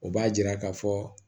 O b'a yira ka fɔ